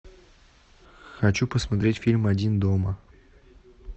хочу посмотреть фильм один дома